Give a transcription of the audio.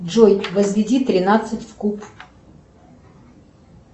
джой возведи тринадцать в куб